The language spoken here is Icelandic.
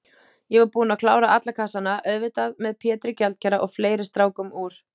Ég var búinn að klára alla kassana, auðvitað með Pétri gjaldkera og fleiri strákum úr